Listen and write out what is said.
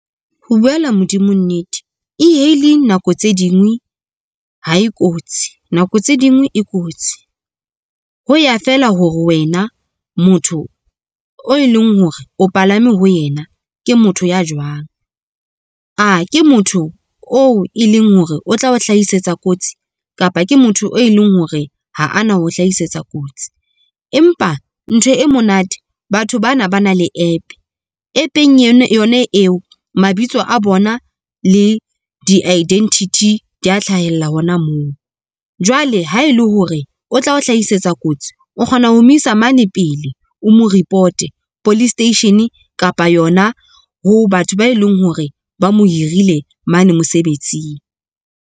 Ho buela modimo nnete E-hailing nako tse dingwe ha e kotsi nako tse dingwe e kotsi. Ho ya feela hore wena motho e leng hore o palame ho yena, ke motho ya jwang? A ke motho oo e leng hore o tla o hlahisetsa kotsi kapa ke motho, e leng hore ha ana ho hlahisetsa kotsi empa ntho e monate batho bana ba na le app. App-eng yona eo mabitso a bona le di identity di a hlahella hona moo, jwale ha ele hore o tla o hlahisetsa kotsi o kgona ho mo isa mane pele o mo ripote police station kapa yona ho batho ba eleng hore ba mo hirile mane mosebetsing.